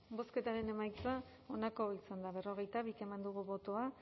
bozketaren emaitza onako izan da hirurogeita hamalau eman dugu bozka